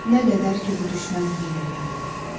Nə qədər ki, bu düşmən hiyləgar ola.